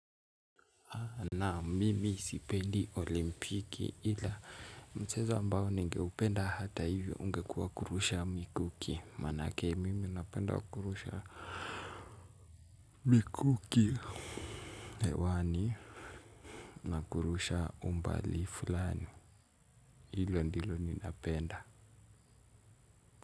Naam mimi sipendi olimpiki ila mchezo ambao ningeupenda hata hivyo ungekuwa kurusha mikuki manake mimi napenda kurusha mikuki hewani na kurusha umbali fulani hilo ndilo ninapenda.